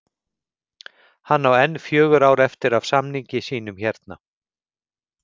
Hann á enn fjögur ár eftir af samningi sínum hérna